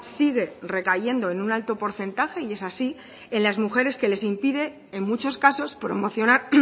sigue recayendo en un alto porcentaje y es así en las mujeres que les impide en muchos casos promocionar